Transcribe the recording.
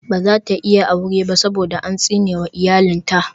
She can't marry because a curse had befallen her family for generations.